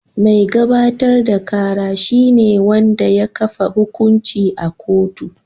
Mai gabatar da kara shi ne wanda ya kafa hukunci a kotu.